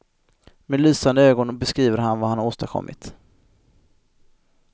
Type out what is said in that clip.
Med lysande ögon beskriver han vad han åstadkommit.